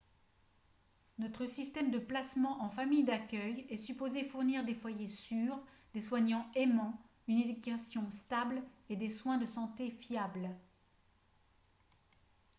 notre système de placement en famille d'accueil est supposé fournir des foyers sûrs des soignants aimants une éducation stable et des soins de santé fiables